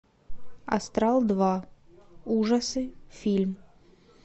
астрал два ужасы фильм